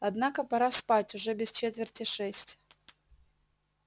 однако пора спать уже без четверти шесть